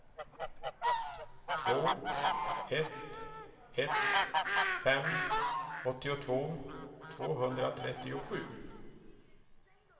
två ett ett fem åttiotvå tvåhundratrettiosju